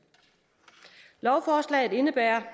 lovforslaget indebærer